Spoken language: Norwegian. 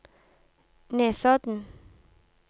Nesodden